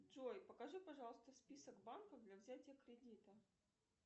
джой покажи пожалуйста список банков для взятия кредита